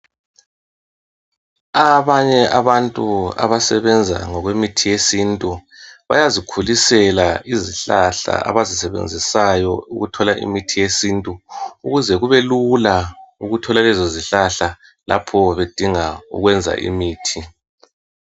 Abanye abantu abasebenza ngokwemithi yesintu, bayazikhulisela izihlahla abazisebenzisayo ukuthola imithi yesintu. Ukuze kube lula ukuthola lezo zihlahla lapho bedinga ukwenza imithi.